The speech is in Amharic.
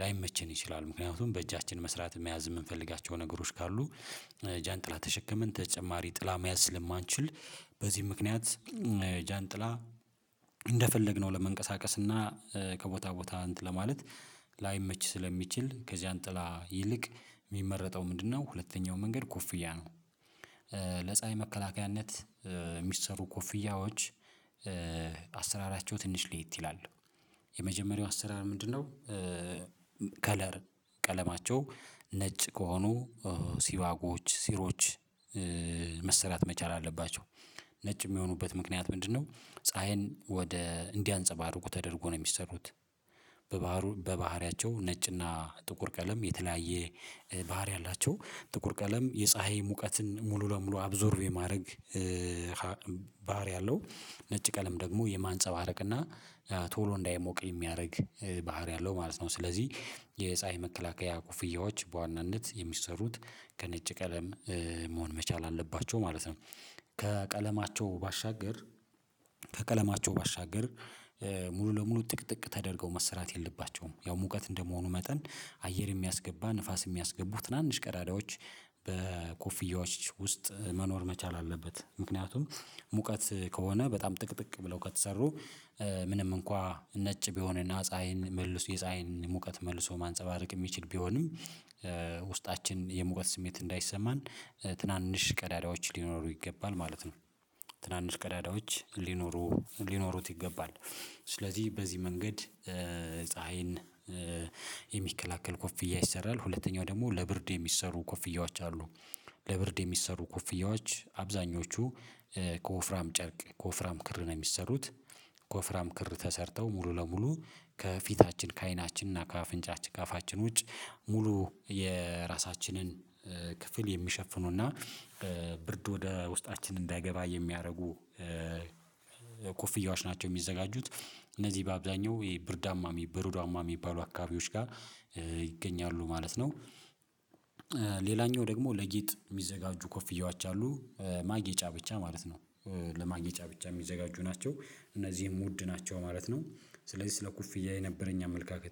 ላይመቸን ይችላል። ምክንያቱም በእጃችን መስራት መያዝ እምንፈልጋቸው ነገሮች ካሉ ጃንጥላ ተሸክመን ተጨማሪ ጥላ መያዝ ስለማንችል በዚህ ምክንያት ጃንጥላ እንደፈለግነው ለመንቀሳቀስና ከቦታ ቦታ እንትን ለማለት ላይመች ስለሚችል ከጃን ጥላ ይልቅ እሚመረጠው ምንድነው? ሁለተኛው መንገድ ኮፍያ ነው። ለፀሀይ መከላከያነት እሚሰሩ ኮፍያዎች አሰራራቸው ትንሽ ልየት ይላሉ። የመጀመሪያው አሰራር ምንድነው? ከለር ቀለማቸው ነጭ ከሆኑ ሲባጎዎች ሲሮች መሰራት መቻል አለባቸው። ነጭ እሚሆኑበት ምክንያት ምንድነው? ፀሀይን ወደ እንዲያንፀባርቁ ተደርጎ ነው የሚሰሩት። በባህሪያቸው ነጭና ጥቁር ቀለም የተለያየ ባህሪ አላቸው ጥቁር ቀለም የፀሀይ ሙቀትን ሙሉ ለሙሉ አብዞርቭ የማድረግ ባህሪ አለው። ነጭ ቀለም ደግሞ የማንጸባረቅ እና ቶሎ እንዳይሞቅ የሚያደርግ ባህሪ አለው ማለት ነው። ስለዚህ የፀሀይ መከላከያ ኮፍያዎች በዋናነት የሚሰሩት ከነጭ ቀለም መሆን መቻል አለባቸው ማለት ነው። ከቀለማቸው ባሻገር ከቀለማቸው ባሻገር ለሙሉ ጥቅጥቅ ተደርገው መሰራት የለባቸውም ያው ሙቀት እንደመሆኑ መጠን አየር የሚያስገባ ንፋስ እሚያስገቡ ትናንሽ ቀዳዳዎች በኮፍያዎች ውስጥ መኖር መቻል አለበት። ምክንያቱም ሙቀት ከሆነ በጣም ጥቅጥቅ ብለው ከተሰሩ ምንም እንኳን ነጭ ቢሆንና ፀሀይን መልሶ የፀሀይን ሙቀት መልሶ ማንፀባረቅ የሚችል ቢሆንም ውስጣችን የሙቀት ስሜት እንዳይሰማን ትናንሽ ቀዳዳዎች ሊኖሩ ይገባል ማለት ነው። ትናንሽ ቀዳዳዎች ሊኖሩ ሊኖሩት ይገባል። ስለዚህ በዚህ መንገድ ፀሀይን የሚከላከል ኮፍያ ይሰራል። ሁለተኛው ደግሞ ለብርድ የሚሰሩ ኮፍያዎች አሉ። ለብርድ የሚሰሩ ኮፍያዎች አብዛኞቹ ከወፍራም ጨርቅ ከወፍራም ክር ነው እሚሰሩት። ከወፍራም ክር ተሰርተው ሙሉ ለሙሉ ከፊታችን ከአይናችን እና ከአፍንጫችን ከአፋችን ውጭ ሙሉ የራሳችንን ክፍል የሚሸፍኑ እና ብርድ ወደ ውስጣችን እንዳይገባ የሚያደርጉ ኮፍያዎች ናቸው እሚዘጋጁት። እነዚህ በአብዛኛው የብርዳማ በረዷማ እሚባሉ አካባቢዎች ጋር ይገኛሉ ማለት ነው። ደግሞ ለጌጥ እሚዘጋጁ ኮፍያዎች አሉ ማጌጫ ብቻ ማለት ነው። ለማጌጫ ብቻ እሚዘጋጁ ናቸው እነዚህም ወድ ናቸው ማለት ነው። ስለዚህ ስለ ኮፍያ የነበረኝ አመለካከት